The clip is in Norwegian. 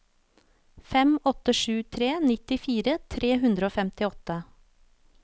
fem åtte sju tre nittifire tre hundre og femtiåtte